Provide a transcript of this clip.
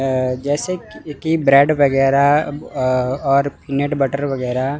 ऐ जैसे कि की ब्रेड वगैरह अ और नेट बटर वगैरह--